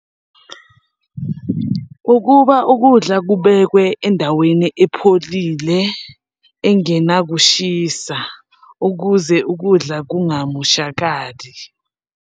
Ukuba ukudla kubekwe endaweni epholile engenakushisa, ukuze ukudla kungamoshakali.